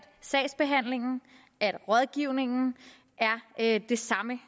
sagsbehandlingen og rådgivningen er det samme